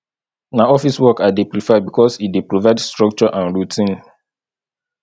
na office work i dey prefer because e dey provide structure and routine